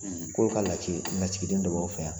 ' lasigiden dɔ b'an fɛ yan